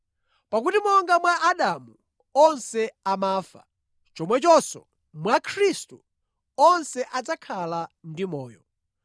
Pakuti monga mwa Adamu onse amafa, chomwechonso mwa Khristu onse adzakhala ndi amoyo.